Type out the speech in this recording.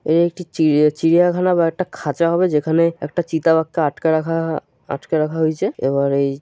এই একটি চিড়িয়া চিড়িয়াখানা বা একটা খাঁচা হবে যেখানে একটা চিতা বাঘকে আটকে রাখা আটকে রাখা হয়েছে এবং--